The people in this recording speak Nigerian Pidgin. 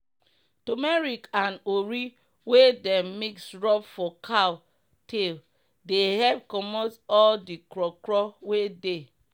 tumeric and ori wey dem mix rub for cow tail dey epp comot all d kro kro wey dey.